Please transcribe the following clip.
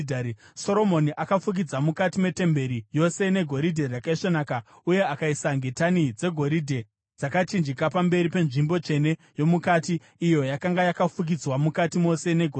Soromoni akafukidza mukati metemberi yose negoridhe rakaisvonaka, uye akaisa ngetani dzegoridhe dzakachinjika pamberi penzvimbo tsvene yomukati, iyo yakanga yakafukidzwa mukati mose negoridhe.